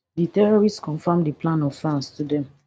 di terrorists confam di plan of france to dem